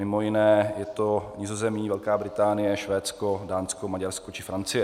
Mimo jiné je to Nizozemí, Velká Británie, Švédsko, Dánsko, Maďarsko či Francie.